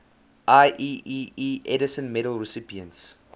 ieee edison medal recipients